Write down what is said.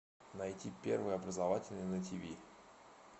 найти первый образовательный на тв